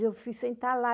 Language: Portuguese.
Eu fui sentar lá.